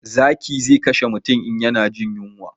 Zaki zai kashe mutum in ya na jin yunwa